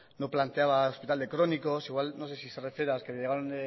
no planteaba hospital de crónicos igual no sé si se refiere a los que llegaron